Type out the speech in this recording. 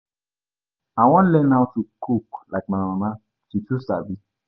I wan learn how to cook like my mama. She too sabi.